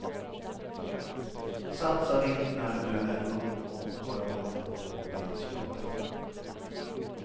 Satsa vilt när du är ung och har många år på dig att spara.